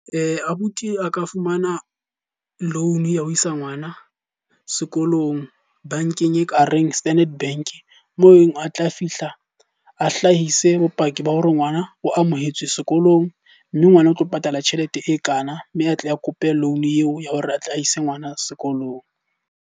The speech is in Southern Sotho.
Abuti a ka fumana loan ya ho isa ngwana sekolong bankeng e ka reng Standard Bank. Mo eng a tla fihla a hlahise bopaki ba hore ngwana o amohetswe sekolong, mme ngwana o tlo patala tjhelete e kana. Mme a tle a kope loan eo ya hore atle a ise ngwana sekolong.